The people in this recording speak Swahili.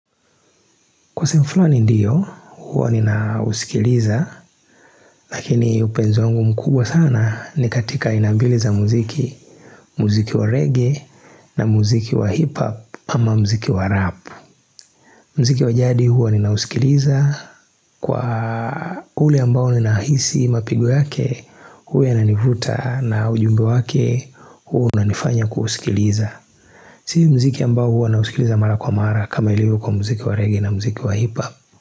Kwa sehemu flani ndiyo, huwa ninausikiliza, lakini upenzi wangu mkubwa sana ni katika aina mbili za muziki, muziki wa reggae na muziki wa hip hop ama muziki wa rap. Mziki wa jadi huwa ninausikiliza, kwa ule ambao nina hisi mapigo yake, huyu ananivuta na ujumbe wake, huwa unanifanya kusikiliza. Sii muziki ambao huwa nausikiliza mara kwa mara kama ilivyo kwa muziki wa reggae na muziki wa hip hop.